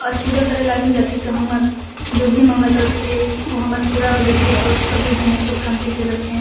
और पूजा करे लागिन जाथे त हमर जो भी मंगत रथे ओ हमर पूरा हो जथे और सबे झने सुख शांति से रथे।